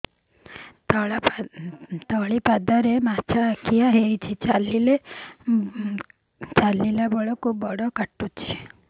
ତଳିପାଦରେ ମାଛିଆ ଖିଆ ହେଇଚି ଚାଲିଲେ ବଡ଼ କାଟୁଚି